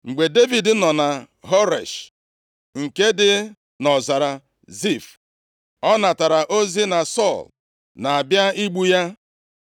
Mgbe Devid nọ na Horesh, nke dị nʼọzara Zif, ọ natara ozi na Sọl na-abịa igbu ya.